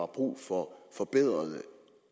brug for forbedrede